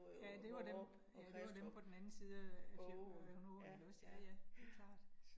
Ja det var dem, ja det var dem på den anden side af fjorden af åen ikke også. Ja ja, det klart